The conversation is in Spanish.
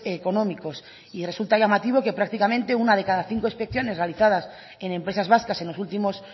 económicos y resulta llamativo que prácticamente una de cada cinco inspecciones realizadas en empresas vascas en los últimos